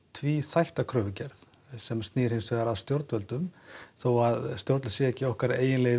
tvíþætta kröfugerð sem snýr annars vegar að stjórnvöldum þó það sé ekki okkar eiginlegi